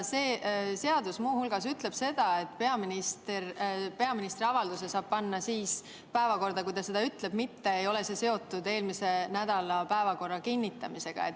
See seadus ütleb muu hulgas seda, et peaministri avalduse saab panna päevakorda, nagu ta ütleb, see ei ole seotud eelmisel nädalal päevakorra kinnitamisega.